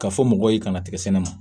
Ka fɔ mɔgɔw ye ka na tigɛ sɛnɛ na